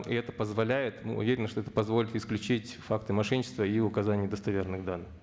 и это позволяет мы уверенны что это позволит исключить факты мошенничества и указание недостоверных данных